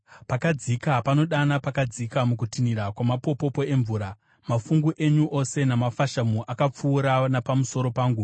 Pakadzika panodana pakadzika mukutinhira kwamapopopo emvura; mafungu enyu ose namafashamu akapfuura napamusoro pangu.